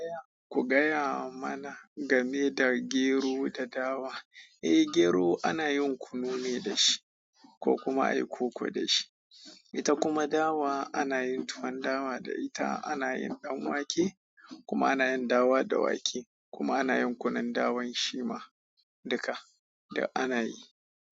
Ku gaya mana game da gero da dawa. Eh, gero ana yin kunu ne da shi ko kuma ayi koko da shi. Ita kuma dawa ana yin tuwan dawa da ita, ana yin ɗanwake kuma ana yin dawa da wake kuma ana yin kunun dawan shi ma duka da ana yi.